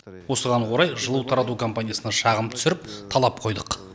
осыған орай жылу тарату компаниясына шағым түсіріп талап қойдық